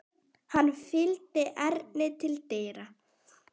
Hann fylgdi Erni til dyra.